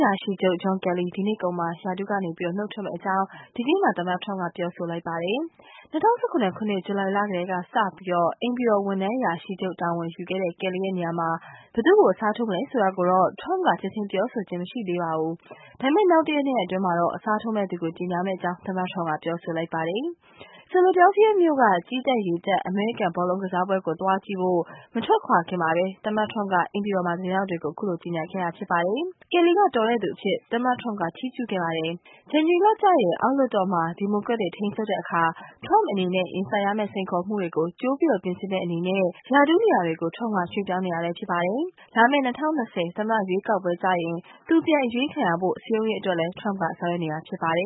ရာရှိချုပ် John Kelly ဒီနှစ်ကုန်မှာ ရာထူးကနေနုတ်ထွက်မယ့်အကြောင်း ဒီကနေ့မှာ သမ္မတ Trump ပြောဆိုလိုက်ပါတယ်။ ၂၀၁၇ ခုနှစ် ဇူလိုင်လကတည်းကစပြီး အိမ်ဖြူတော်အရာရှိချုပ်တာဝန်ယူခဲ့တဲ့ Kelly ရဲ့ နေရာမှာ ဘယ်သူ့ကို အစားထိုးမလဲဆိုတာကို Trump က ချက်ချင်းပြောဆိုခြင်းတော့ မရှိသေးပါဘူး။ ဒါပေမယ့်နောက်တရက် ၂ ရက်အတွင်း အစားထိုးမယ့်သူကို ကြေညာမယ့်အကြောင်း သမ္မတ Trump က ပြောဆိုလိုက်ပါတယ်။ Philadelphia မြို့က ကြည်းတပ်-ရေတပ် အမေရိကန် ဘောလုံးကစားပွဲကို သွားကြည့်ဖို့ မထွက်ခွာခင် သမ္မတ Trump က အိမ်ဖြူတော်မှာ သတင်းထောက်တွေကို ပြောဆိုခဲ့တာပါ။ Kelly က တော်တဲ့သူအဖြစ် Trump က ချီးကျူးခဲ့ပါတယ်။ ဇန်နဝါရီလကျရင် အောက်လွှတ်တော်မှာ ဒီမိုကရက်တွေ ထိန်းချုပ်တဲ့အခါ Trump အနေနဲ့ ရင်ဆိုင်ရမယ့် စိန်ခေါ်မှုတွေကို ကြိုပြင်ဆင်တဲ့အနေနဲ့ ရာထူးနေရာတွေ Trump က ရွှေ့ပြောင်းနေတာပါ။ လာမယ့် ၂၀၂၀ သမ္မတရွေးကောက်ပွဲကျရင် သူပြန်အရွေးခံရဖို့ စည်းရုံးရေးအတွက်လည်း Trump က ဆောင်ရွက်နေတာဖြစ်ပါတယ